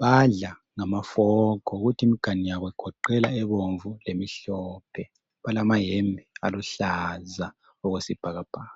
Badla ngamafork kuthi imiganu yabo igoqela ebomvu lemhlophe. Balamayembe aluhlaza okwesibhakabhaka.